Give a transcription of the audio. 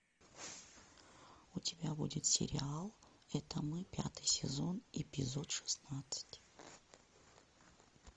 у тебя будет сериал это мы пятый сезон эпизод шестнадцать